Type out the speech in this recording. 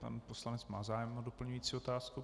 Pan poslanec má zájem o doplňující otázku.